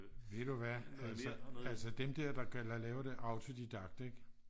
ved du hvad altså dem der der laver det autodidakt ik